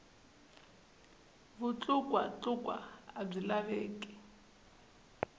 vutlukwa tlukwa a byi laveki